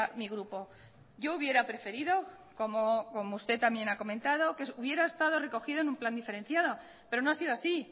mi grupo yo hubiera preferido como usted también ha comentado que hubiera estado recogido en un plan diferenciado pero no ha sido así